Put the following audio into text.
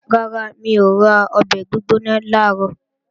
Rárá, mi ò ra ọbẹ̀ gbígbóná làárọ̀